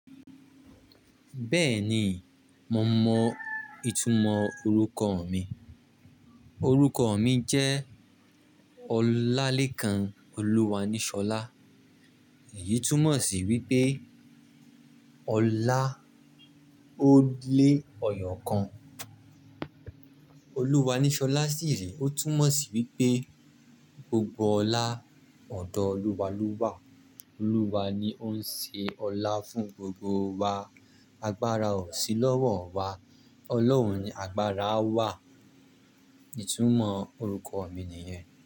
Bẹ́ẹ̀ni, mo mọ ìtumọ̀ orúkọ mi. Orúkọ mi jẹ́ Olalekan Oluwanishola. Èyí túmọ̀ sí wípé Ọlá ó lé Ẹyọ́ kan. Oluwanishola siì rí. Ó túmọ̀ sí wípé gbogbo ọlá ọ̀dọ́ Olúwa ló wà. Olúwa ni ó ń ṣe ọlá fún gbogbo wa. Agbára ò sí lọ́wọ́ wa, Ọlọ́run ni agbára wà. Ìtumọ̀ orúkọ mi nìyẹn.